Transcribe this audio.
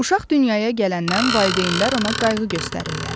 Uşaq dünyaya gələndən valideynlər ona qayğı göstərirlər.